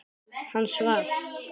Hann svaf.